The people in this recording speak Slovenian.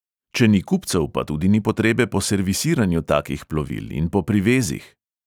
Če ni kupcev, pa tudi ni potrebe po servisiranju takih plovil in po privezih.